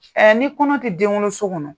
ni kɔnɔ tɛ denwoloso kɔnɔ